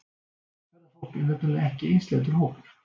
Ferðafólk er nefnilega ekki einsleitur hópur.